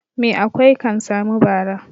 Mai akwai kan sami bara.